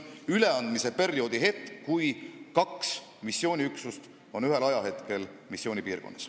Seega kaks missiooniüksust on teatud ajahetkel korraga missioonipiirkonnas.